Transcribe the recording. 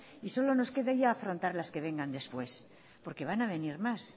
y solo nos queda ya afrontar las que vengas después porque van a venir más